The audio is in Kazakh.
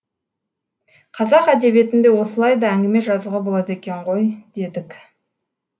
қазақ әдебиетінде осылай да әңгіме жазуға болады екен ғой дедік